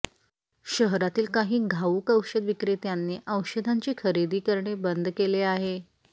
शहरातील काही घाऊक औषध विक्रेत्यांनी औषधांची खरेदी करणे बंद केले आहे